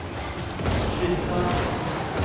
kvinnedagen